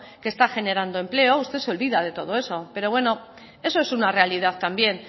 que está generando empleo usted se olvida de todo eso eso es una realidad también